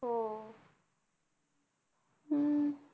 हो हम्म